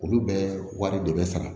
Olu bɛ wari de bɛ sara